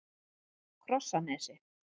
Krossanesi